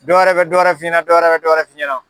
Dɔwɛrɛ bɛ dɔwɛrɛ f'i ɲɛna dɔwɛrɛ bɛ dɔwɛrɛ f'i ɲɛna.